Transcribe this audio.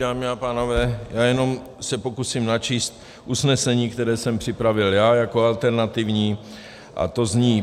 Dámy a pánové, já jenom se pokusím načíst usnesení, které jsem připravil já jako alternativní, a to zní: